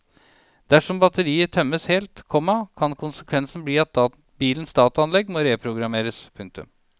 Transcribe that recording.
Dersom batteriet tømmes helt, komma kan konsekvensen bli at bilens dataanlegg må reprogrammeres. punktum